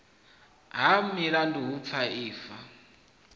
ha milandu hu paa ifa